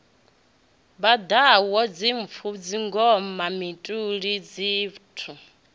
vhaḓaho dzimpfo dzingoma mituli pheṱho